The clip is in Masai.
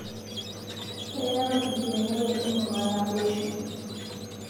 keyaau enkiremore emurua naboisho